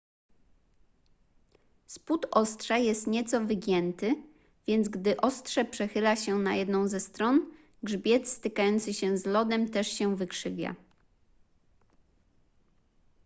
spód ostrza jest nieco wygięty więc gdy ostrze przechyla się na jedną ze stron grzbiet stykający się z lodem też się wykrzywia